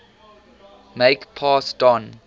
make pass don